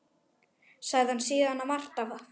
Sagði hann síðan margt af